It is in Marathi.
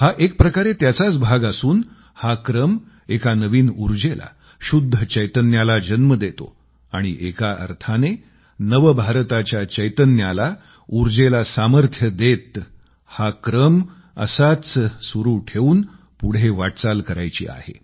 हा एक प्रकारे त्याचाच भाग असून हा क्रम एका नवीन ऊर्जेला शुद्ध चैतन्याला जन्म देतो आणि एका अर्थाने नवभारताच्या चैतन्याला ऊर्जेला सामर्थ्य देत हा क्रम असाच सुरू ठेवून पुढे वाटचाल करायची आहे